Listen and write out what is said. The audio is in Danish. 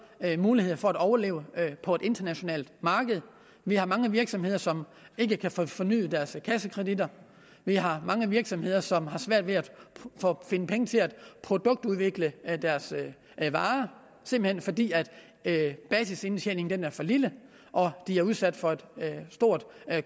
muligheder for at overleve på et internationalt marked vi har mange virksomheder som ikke kan få fornyet deres kassekredit vi har mange virksomheder som har svært ved at finde penge til at produktudvikle deres varer simpelt hen fordi basisindtjeningen er for lille og de er udsat for et stort